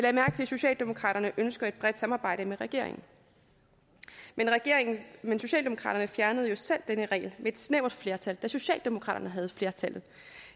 socialdemokraterne ønsker et bredt samarbejde med regeringen men regeringen men socialdemokraterne fjernede jo selv denne regel med et snævert flertal da socialdemokraterne havde flertal